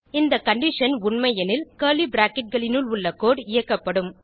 இந்த கண்டிஷன் உண்டை எனில் கர்லி பிராக்கெட் களினுள் உள்ள கோடு இயக்கப்படும்